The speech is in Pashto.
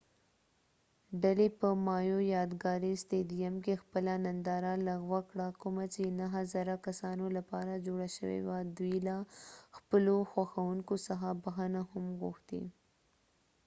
ډلې په مایو یادګاری ستیديم کې خپله ننداره لغوه کړه کومه چې نهه زره کسانو لپاره جوړه شوي وه دوي له خپلو خوښونکو څخه بخښنه هم غوښتی